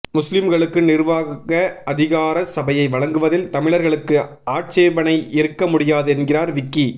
முஸ்லிம்களுக்கு நிர்வாக அதிகார சபையை வழங்குவதில் தமிழர்களுக்கு ஆட்சேபணை இருக்க முடியாது என்கிறார் விக்கி